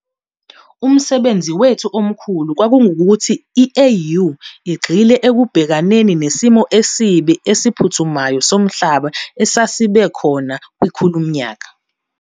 Umsebenzi wethu omkhulu kwakungukuthi i-AU igxile ekubhekaneni nesimo esibi esiphuthumayo somhlaba esesibe khona kwikhulumnyaka.